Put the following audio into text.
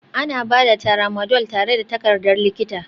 Ana ba da Tramadol tare da takardar likita